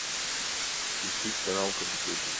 включить канал карусель